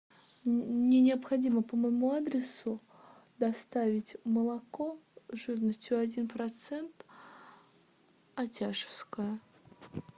мне необходимо по моему адресу доставить молоко жирностью один процент атяшевское